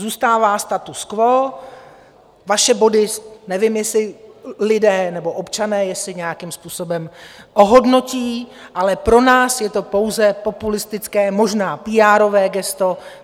Zůstává status quo, vaše body - nevím, jestli lidé nebo občané, jestli nějakým způsobem ohodnotí - ale pro nás je to pouze populistické, možná píárové gesto.